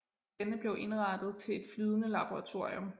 Denne blev indrettet til et flydende laboratorium